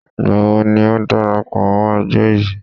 Ìgbàwo ni o dára pọ̀ mọ́ ẹgbẹ́ yìí?